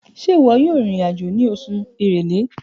Ṣe iwọ yoo rin irin-ajo ni Kínní!